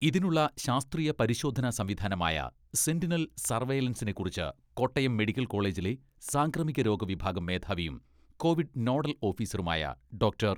ഇതിനുള്ള ശാസ്ത്രീയ പരിശോധനാ സംവിധാനമായ സെന്റിനൽ സർവെയലൻസിനെ കുറിച്ച് കോട്ടയം മെഡിക്കൽ കോളേജിലെ സാംക്രമികരോഗ വിഭാഗം മേധാവിയും കോവിഡ് നോഡൽ ഓഫീസറുമായ ഡോക്ടർ.